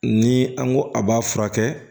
Ni an ko a b'a furakɛ